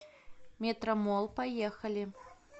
метромолл поехали